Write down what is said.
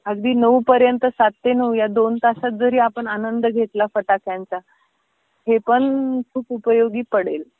अगदी नऊ पर्यंत सात ते नऊ या दोन तासात जरी आपण आनंद घेतला फटाक्यांचा हे पण खूप उपयोगी पडेल.